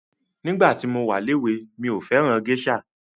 Nígbà tí mo wa léwe mí ò fẹ́ràn gésà.